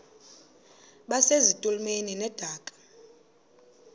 base zitulmeni zedaka